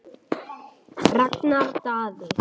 Ragnar Daði.